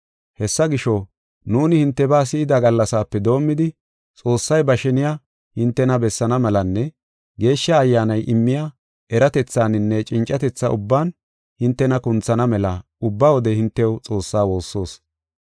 Hessa gisho, nuuni hintebaa si7ida gallasaape doomidi, Xoossay ba sheniya hintena bessaana melanne, Geeshsha Ayyaanay immiya eratethaninne cincatetha ubban hintena kunthana mela ubba wode hintew Xoossaa woossoos.